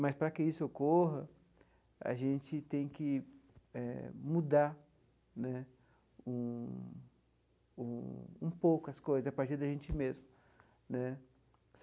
Mas, para que isso ocorra, a gente tem que eh mudar né um um um pouco as coisas a partir da gente mesmo né.